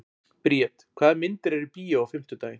Briet, hvaða myndir eru í bíó á fimmtudaginn?